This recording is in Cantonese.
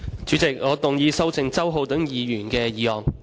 主席，我動議修正周浩鼎議員的議案。